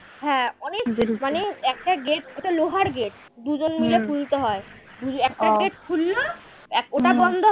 হ্যাঁ অনেক একটা gate ওটা লোহার gate দুজন মিলে খুলতে হয়। ওই একটা gate খুললো এক ওটা বন্ধ